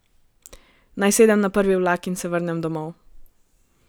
Naj sedem na prvi vlak in se vrnem domov?